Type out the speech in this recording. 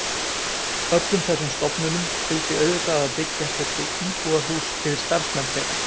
Öllum þessum stofnunum fylgdi auðvitað að byggja þurfti íbúðarhús yfir starfsmenn þeirra.